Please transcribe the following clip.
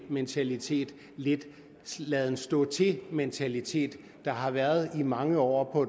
mentalitet lidt laden stå til mentalitet der har været i mange år